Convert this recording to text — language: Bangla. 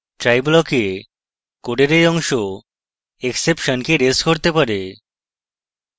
try block a code এই অংশ exception কে রেজ করতে পারে